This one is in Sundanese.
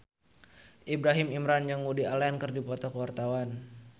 Ibrahim Imran jeung Woody Allen keur dipoto ku wartawan